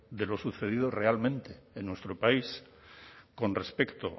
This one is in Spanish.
de lo sucedido realmente en nuestro país con respecto